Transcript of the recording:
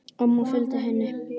Amma fylgdi henni.